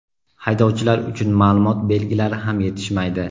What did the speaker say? Haydovchilar uchun ma’lumot belgilari ham yetishmaydi.